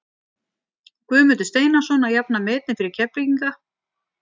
Guðmundur Steinarsson að jafna metin fyrir Keflvíkinga.